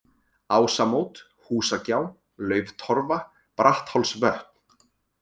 Ásamót, Húsagjá, Lauftorfa, Bratthálsvötn